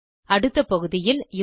அடுத்த பகுதியில் யூசர்